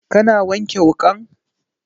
Ka na wanke wukan?